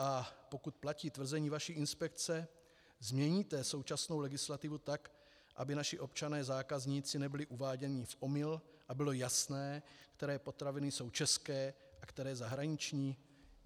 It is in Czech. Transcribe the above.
A pokud platí tvrzení vaší inspekce, změníte současnou legislativu tak, aby naši občané zákazníci nebyli uváděni v omyl a bylo jasné, které potraviny jsou české a které zahraniční?